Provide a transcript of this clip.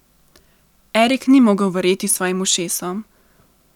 Erik ni mogel verjeti svojim ušesom.